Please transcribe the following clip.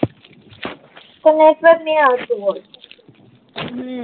તો નેટવર્ક ની આવતું હોય હમ